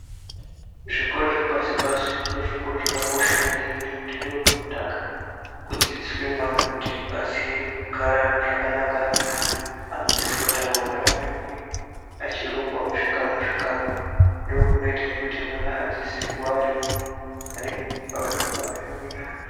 Zvikora zvepashi pashi ndozvakakosha maningi nekuti ndokunotange kudzidziswa mwana kuti aziye kugara zvakanaka naantu adzidziswe kugara naamweni vachirongwa muzvikamu zvikamu ndozvinoita kuti mwana adzidze kuva muntu ane hunhu pane vamweni vanhu.